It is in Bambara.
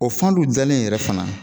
O fan dɔw dalen yɛrɛ fana